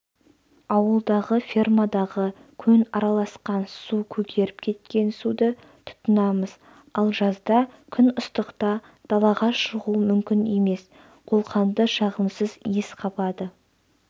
ауылдағы фермадағы көң араласқан су көгеріп кеткен суды тұтынамыз ал жазда күн ыстықта далаға шығу мүмкін емес қолқаңды жағымсыз иіс қабады